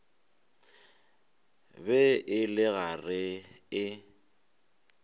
be e le gare e